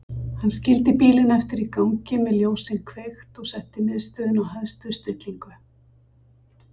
Hann skildi bílinn eftir í gangi með ljósin kveikt og setti miðstöðina á hæstu stillingu.